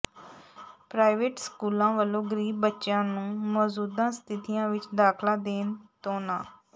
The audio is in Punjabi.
ਪ੍ਰਾਈਵੇਟ ਸਕੂਲਾਂ ਵੱਲੋਂ ਗਰੀਬ ਬੱਚਿਆਂ ਨੂੰ ਮੌਜੂਦਾ ਸਥਿਤੀਆਂ ਵਿਚ ਦਾਖਲਾ ਦੇਣ ਤੋਂ ਨਾਂਹ